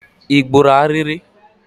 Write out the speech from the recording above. Ị gburu ariri?